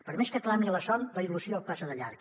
per més que clami a la son la il·lusió passa de llarg